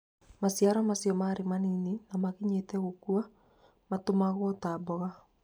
Maciara macio marĩ manyinyi na makinyĩte gũkua matũmagwo ta mboga.